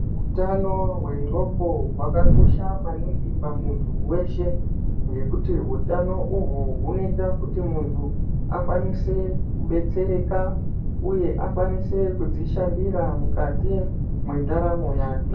Utano hweroko hwakakosha maningi pamuntu weshe nekuti hutano uhu hunoita kuti muntu akwanise kudetsereka uye akwanise kuzvishandira mukati mwendaramo yake